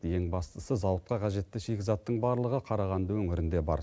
ең бастысы зауытқа қажетті шикізаттың барлығы қарағанды өңірінде бар